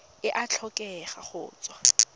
e a tlhokega go tswa